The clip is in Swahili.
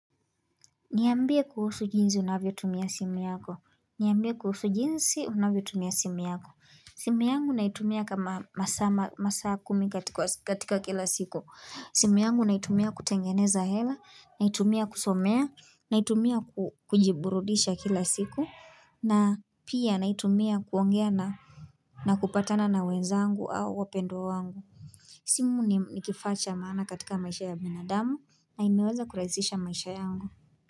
Niambie kuhusu jinsi unavyo tumia simu yako niambia kuhusu jinsi unavyo tumia simu yako simu yangu naitumia kama masa kumi katika kila siku simu yangu naitumia kutengeneza hela naitumia kusomea naitumia kujiburudisha kila siku na pia naitumia kuongea na na kupatana na wenzangu au wapendwa wangu simu nikifa cha maana katika maisha ya minadamu na imeweza kurazisha maisha yangu.